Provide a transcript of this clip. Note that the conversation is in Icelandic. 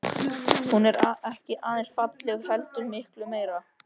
Hún er ekki aðeins falleg heldur miklu meira.